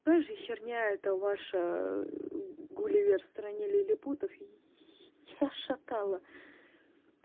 какая же херня это ваша гулливер в стране лилипутов я шатало